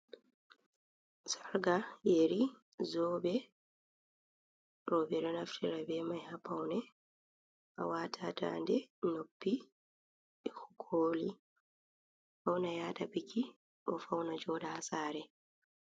Sarka, yeri, zobe robe do naftira be mai ha paune a wata daade noppi e koli pauna yada biki ko fauna joda hasare.